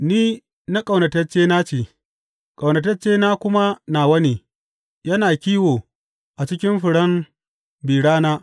Ni na ƙaunataccena ce, ƙaunataccena kuma nawa ne; yana kiwo a cikin furen bi rana.